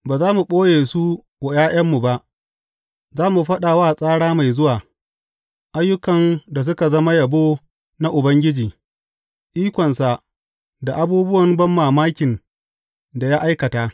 Ba za mu ɓoye su wa ’ya’yanmu ba; za mu faɗa wa tsara mai zuwa ayyukan da suka zama yabo na Ubangiji, ikonsa, da abubuwan banmamakin da ya aikata.